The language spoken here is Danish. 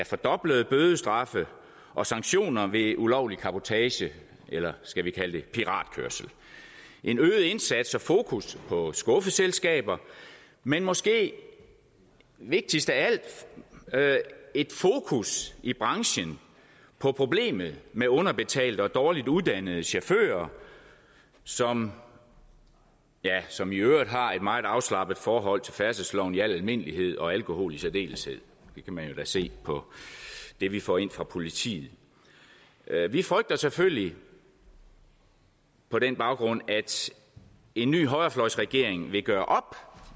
fordoblede bødestraffe og sanktioner ved ulovlig cabotagekørsel eller skal vi kalde det piratkørsel en øget indsats og fokus på skuffeselskaber men måske vigtigst af alt et fokus i branchen på problemet med underbetalte og dårligt uddannede chauffører som som iøvrigt har et meget afslappet forhold til færdselsloven i al almindelighed og alkohol i særdeleshed det kan man jo da se på det vi får ind fra politiet vi frygter selvfølgelig på den baggrund at en ny højrefløjsregering vil gøre